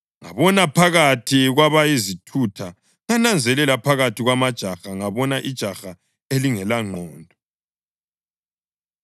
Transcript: Ngabona phakathi kwabayizithutha, ngananzelela phakathi kwamajaha ngabona ijaha elingelangqondo.